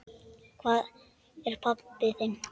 Hvað er það, pabbi?